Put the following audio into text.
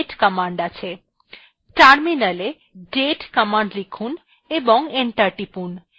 terminal date command লিখুন এবং enter টিপুন